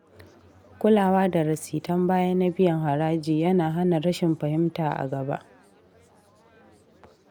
Kulawa da rasitan baya na biyan haraji ya na hana rashin fahimta a gaba.